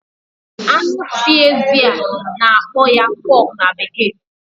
anụ si ezi a na-akpọ ya pork na bekee